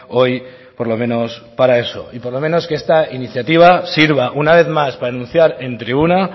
hoy por lo menos para eso y por lo menos que esta iniciativa sirva una vez más para anunciar en tribuna